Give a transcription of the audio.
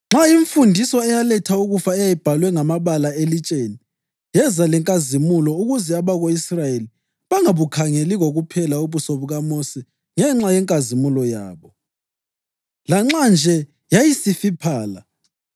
Nxa imfundiso eyaletha ukufa eyayibhalwe ngamabala elitsheni, yeza lenkazimulo, ukuze abako-Israyeli bangabukhangeli kokuphela ubuso bukaMosi ngenxa yenkazimulo yabo, lanxa nje yayisifiphala,